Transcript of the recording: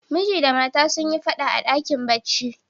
Miji da mata sun yi fada a dakin barci.